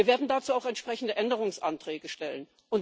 Wir werden dazu auch entsprechende Änderungsanträge stellen.